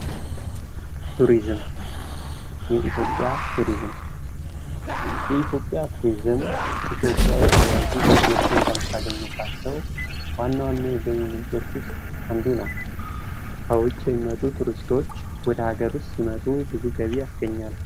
ቱሪዝም የኢትዮጵያ ቱሪዝም የኢትዮጵያ ቱሪዝም ኢትዮጵያ የተለያዩ ገቢዎችን ከምታገኝባቸው ዋና ዋና የገቢ ምንጮች ውስጥ አንዱ ነው። ከውጭ የሚመጡ ቱሪስቶች ወደ ሀገር ሲመጡ ብዙ ገቢ ያስገኛሉ።